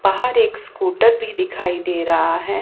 बाहर एक स्कूटर भी दिखाई दे रहा है।